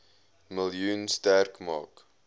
miljoen sterk maak